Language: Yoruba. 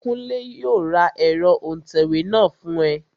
Kúnlé yóò ra ẹ̀rọ òǹtẹ̀wé náà fún ẹ